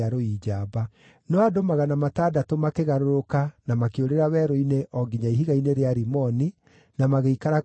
No andũ magana matandatũ makĩgarũrũka na makĩũrĩra werũ-inĩ o nginya ihiga-inĩ rĩa Rimoni, na magĩikara kuo mĩeri ĩna.